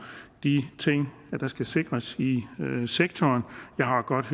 de ting der skal sikres i sektoren jeg har godt